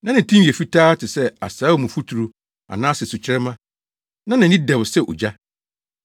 Na ne tinwi yɛ fitaa te sɛ asaawamfuturu anaasɛ sukyerɛmma, na nʼani dɛw sɛ ogya.